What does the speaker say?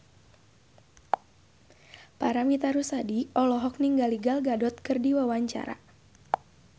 Paramitha Rusady olohok ningali Gal Gadot keur diwawancara